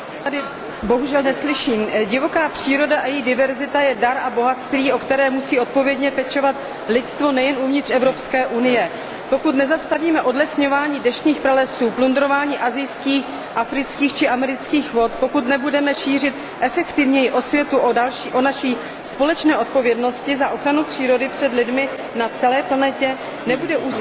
Divoká příroda a její diverzita je dar a bohatství, o které musí odpovědně pečovat lidstvo nejen uvnitř Evropské unie. Pokud nezastavíme odlesňování deštných pralesů, plundrování asijských, afrických či amerických vod, pokud nebudeme šířit efektivněji osvětu o naší společné odpovědnosti za ochranu přírody před lidmi na celé planetě, nebude úsilí Evropské unie účinné.